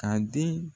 Ka den